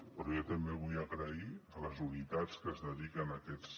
però jo també vull agrair a les unitats que es dediquen a aquests